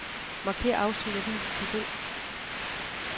Markér afsnit og vis i tabel.